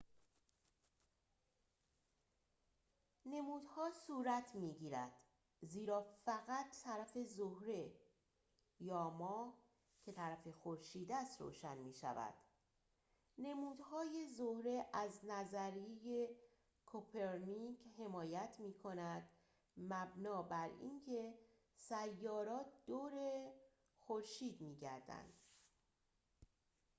نمودها صورت می‌گیرند زیرا فقط طرف زهره یا ماه که طرف خورشید است روشن می‌شود. نمودهای زهره از نظریه کوپرنیک حمایت می‌کند مبنی براینکه سیارات دور خورشید می‌گردند